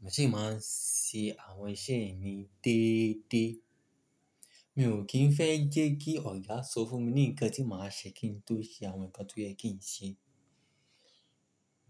mo sì máa ń ṣe àwọn iṣẹ́ mi déédéé. Mi ò kín fẹ́ jẹ́ kí ọ̀gá sọ fún mi ní nǹkan tí màá ṣe kí n tó ṣe àwọn nǹkan tó yẹ kí n ṣe.